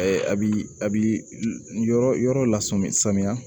a bi a bi yɔrɔ yɔrɔ la sɔmi samiya